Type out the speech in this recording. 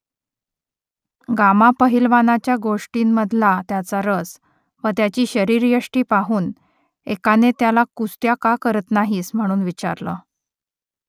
gamma पहिलवानाच्या गोष्टींमधला त्याचा रस व त्याची शरीरयष्टी पाहून एकाने त्याला कुस्त्या का करत नाहीस म्हणून विचारलं